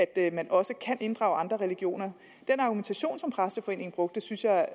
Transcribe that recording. at man også kan inddrage andre religioner den argumentation som præsteforeningen brugte synes jeg